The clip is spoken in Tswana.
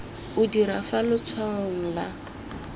o dira fa letshwaong la